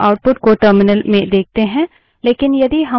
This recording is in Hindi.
इसलिए हम output को terminal में देखते हैं